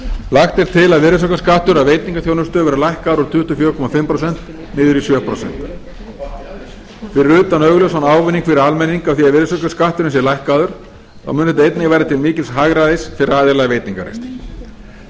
lagt er og til að virðisaukaskattur af veitingaþjónustu verði lækkaður úr tuttugu og fjögur og hálft prósent niður í sjö prósent fyrir utan augljósan ávinning fyrir almenning af því að virðisaukaskatturinn sé lækkaður mun þetta einnig verða til mikils hagræðis fyrir aðila í veitingarekstri